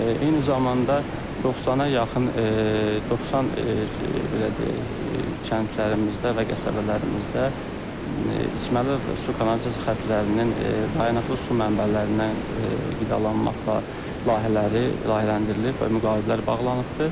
Eyni zamanda 90-a yaxın 90 belə deyək kəndlərimizdə və qəsəbələrimizdə içməli su kanalizasiya xəttlərinin dayanıqlı su mənbələrindən qidalanmaqla layihələri layihələndirilib və müqavilələr bağlanıbdır.